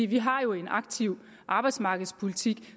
vi har jo en aktiv arbejdsmarkedspolitik